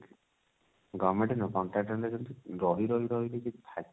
government ନୁହଁ contractor level ରେ ରହି ରହି ରହି ରହି